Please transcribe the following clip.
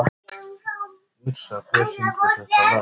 Yrsa, hver syngur þetta lag?